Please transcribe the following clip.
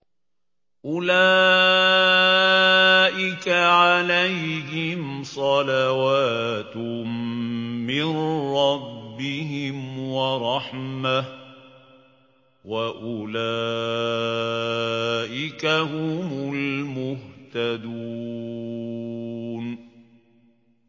أُولَٰئِكَ عَلَيْهِمْ صَلَوَاتٌ مِّن رَّبِّهِمْ وَرَحْمَةٌ ۖ وَأُولَٰئِكَ هُمُ الْمُهْتَدُونَ